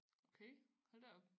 Okay hold da op